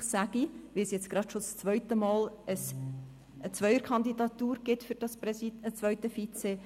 Offensichtlich, denn es gibt jetzt schon das zweite Mal eine Zweierkandidatur für das zweite Vizepräsidium.